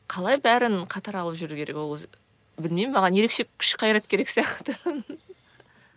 қалай бәрін қатар алып жүру керек ол білмеймін маған ерекше күш қайрат керек сияқты